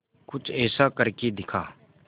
कुछ ऐसा करके दिखा